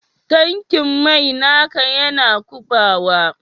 Tankin mai naka Yana kubawa?